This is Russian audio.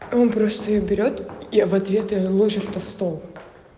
он просто её берет я в ответ её ложит на стол